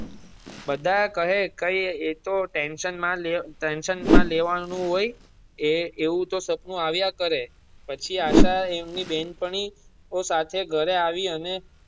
બધા કહે કઈ એતો ટેંશન માં ટેંશન માં લેવા નું હોય એવું તો સપનું આવિયા કરે પછી આશા અને તેની બેન પણી ઓ સાથે ઘરે આવી અને.